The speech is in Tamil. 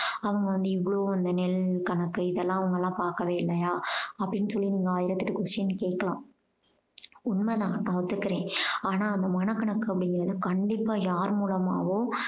அவங்க வந்து இவ்வளோ அந்த நெல் கணக்கு இதெல்லாம் அவங்கெல்லாம் பாக்கவே இல்லையா அப்படீன்னு சொல்லி நீங்க ஆயிரத்தி எட்டு question கேட்கலாம். உண்மை தான் நான் ஒத்துக்கறேன். ஆனா அந்த மனக்கணக்கு அப்படீங்கறது கண்டிப்பா யாரு மூலமாவோ